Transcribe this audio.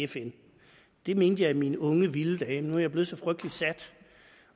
fn det mente jeg i mine unge vilde dage men nu er jeg blevet så frygtelig sat